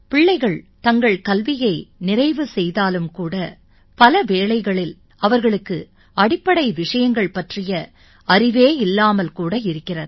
பிள்ளைகள் தங்கள் கல்வியை நிறைவு செய்தாலும் கூட பல வேளைகளில் அவர்களுக்கு அடிப்படை விஷயங்கள் பற்றிய அறிவே இல்லாமல் கூட இருக்கிறது